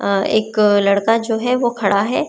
अ एक लड़का जो है वो खड़ा है।